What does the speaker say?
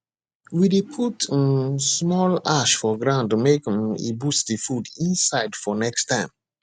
we dey put um small ash for ground make um e boost the food inside for next time